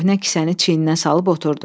Köhnə kisəni çiyindən salıb oturdu.